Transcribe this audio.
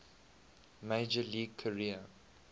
major league career